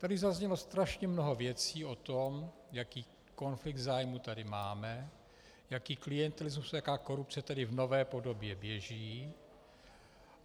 Tady zaznělo strašně mnoho věcí o tom, jaký konflikt zájmů tady máme, jaký klientelismus, jaká korupce tady v nové podobě běží.